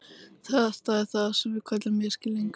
Þetta er það sem við köllum misskilning.